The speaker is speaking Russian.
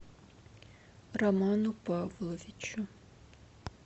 роману павловичу